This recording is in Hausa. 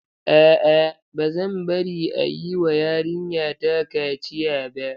A'a, ba zan bari a yi wa yarinyata kaciya ba.